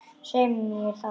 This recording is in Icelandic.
Svei mér þá.